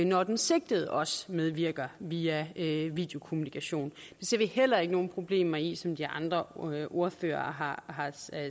når den sigtede også medvirker via videokommunikation det ser vi heller ikke nogen problemer i som de andre ordførere har